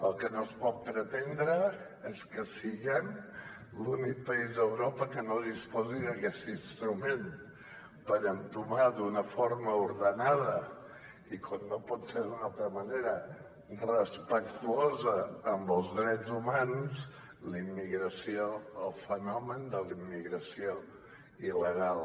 el que no es pot pretendre és que siguem l’únic país d’europa que no disposi d’aquest instrument per entomar d’una forma ordenada i com no pot ser d’una altra manera respectuosa amb els drets humans la immigració el fenomen de la immigració il·legal